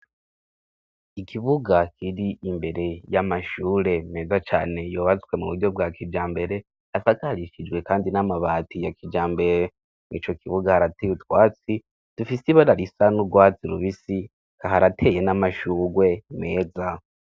ikibuga kiri imbere y'amashure meza cane yubatswe muburyo bwakijambere asakarishijwe kandi n'amabati yakijambere mu ico kibuga harateye utwatsi dufise ibara risa n'urwatsi rubisi harateye n'amashugwe meza